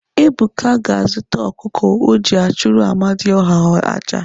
Ebuka ga-azụta ọkụkọ o ji achụrụ amadịọha aja.